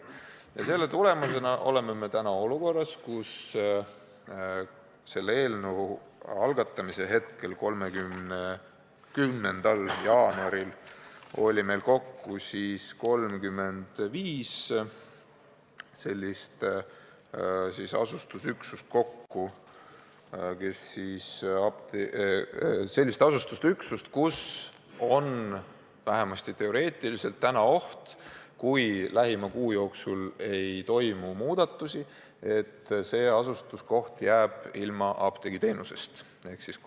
Ja selle tulemusena jõudsime olukorda, kus selle eelnõu algatamise päeval, 30. jaanuaril oli meil kokku 35 sellist asustusüksust, kus on vähemasti teoreetiliselt oht, et kui lähima kuu jooksul ei toimu muudatust, jääb see koht apteegiteenusest ilma.